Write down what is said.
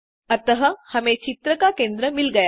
अतः हमें चित्र का केंद्र मिल गया